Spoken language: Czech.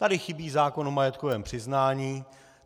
Tady chybí zákon o majetkovém přiznání.